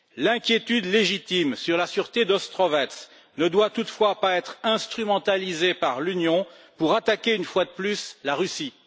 L'inquiétude légitime sur la sûreté d'Ostrovets ne doit toutefois pas être instrumentalisée par l'Union pour attaquer une fois de plus la Russie.